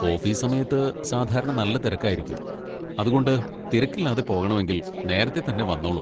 Office സമയത്ത് സാധാരണ നല്ല തിരക്കായിരിക്കും, അതുകൊണ്ട് തിരക്കില്ലാതെ പോകണമെങ്കിൽ നേരത്തെ തന്നെ വന്നോളൂ.